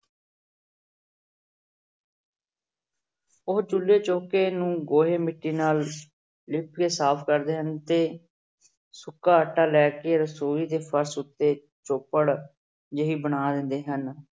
ਉਹ ਚੁੱਲੇ ਚੌਂਕੇ ਨੂੰ ਗੋਹੇ ਮਿੱਟੀ ਨਾਲ ਲਿਪ ਕੇ ਸਾਫ਼ ਕਰਦੇ ਹਨ ਤੇ ਸੁੱਕਾ ਆਟਾ ਲੈ ਕੇ ਰਸੌਈ ਦੇ ਫ਼ਰਸ਼ ਉੱਤੇ ਚੋਪੜ ਜਿਹੀ ਬਣਾ ਦਿੰਦੇ ਹਨ।